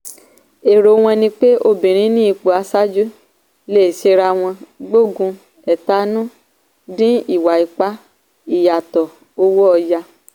èrò wọn ni pé obìnrin ní ipò aṣáájú lè ṣèrànwọ́ gbógun ẹ̀tanú dín ìwà ipá ìyàtọ̀ owó ọ̀yà.